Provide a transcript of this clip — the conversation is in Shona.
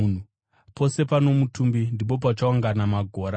Pose pano mutumbi ndipo pachaungana magora.